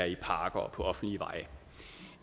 i parker og på offentlige veje